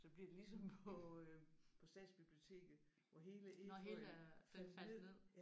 Så bliver det ligesom på øh på Statsbiblioteket hvor hele efeuen faldt ned